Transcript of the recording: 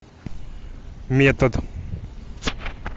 метод